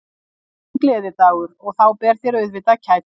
Þetta er þinn gleðidagur og þá ber þér auðvitað að kætast.